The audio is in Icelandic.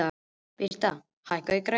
Britt, hækkaðu í græjunum.